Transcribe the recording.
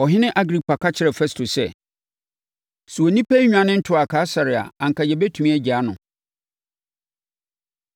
Ɔhene Agripa ka kyerɛɛ Festo sɛ, “Sɛ onipa yi nnwane ntoaa Kaesare a anka yɛbɛtumi agyaa no.”